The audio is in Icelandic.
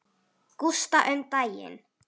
Gústa um daginn.